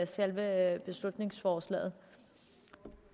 selve beslutningsforslaget